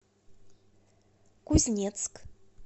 кузнецк